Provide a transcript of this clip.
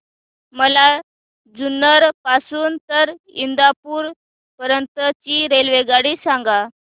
मला जुन्नर पासून तर इंदापूर पर्यंत ची रेल्वेगाडी सांगा